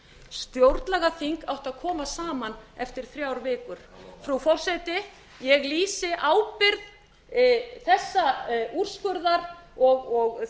átti að koma saman eftir þrjár vikur frú forseti ég lýsi ábyrgð þessa úrskurðar og þess að